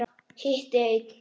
Hitti einn.